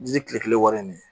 Ji tile kelen wari in de